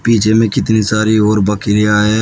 पिछे में कितनी सारी और बकरियां है।